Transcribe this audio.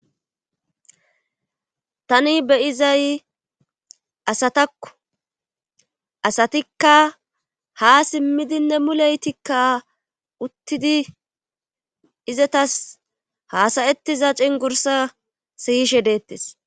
tani beyizay asatakku asatikka ha simmidinne muleytikka uttidi izatas haasayettiza cingursa siyishe deettes